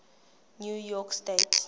new york state